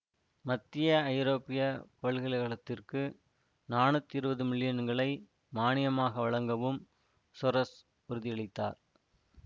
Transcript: மத்திய ஐரோப்பிய பல்கலை கழகத்திற்கு நானூத்தி இருவது மில்லியன்களை மானியமாக வழங்கவும் சொரெஸ் உறுதியளித்தார்